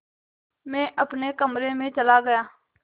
मैं अपने कमरे में चला गया